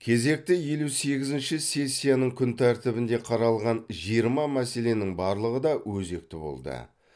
кезекті елу сегізінші сессияның күн тәртібінде қаралған жиырма мәселенің барлығы да өзекті болды